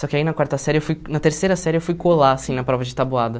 Só que aí na quarta série eu fui na terceira série eu fui colar assim na prova de tabuada.